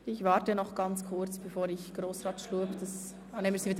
Ich warte noch kurz, bevor ich Grossrat Schlup das Wort erteile.